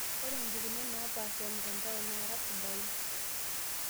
Ore impukunot napaasha e mtandao naara sidain,